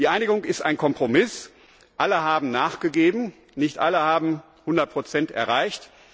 Die Einigung ist ein Kompromiss Alle haben nachgegeben, nicht alle haben 100 erreicht.